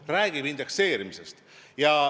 Ta räägib indekseerimisest.